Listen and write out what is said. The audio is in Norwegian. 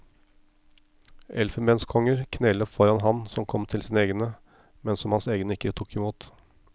Elfenbenskonger kneler foran ham som kom til sine egne, men som hans egne ikke tok imot.